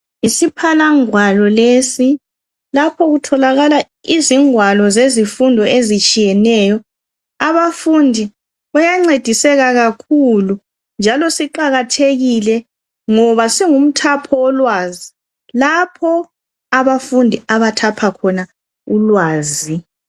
Isiphalangwalo lesi, lapho okutholakala izingwalo zezifundo ezitshiyeneyo abafundi bayancediseka kakhulu njalo siqakathekile ngoba singumthapho wolwazi lapho abafundi abathapha khona ulwazi.